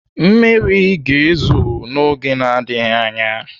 Mmiri ga-ezo n'oge na-adịghị anya.